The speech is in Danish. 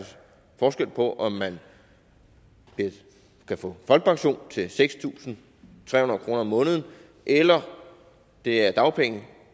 forskel på om man kan få folkepension til seks tusind tre hundrede kroner om måneden eller det er dagpenge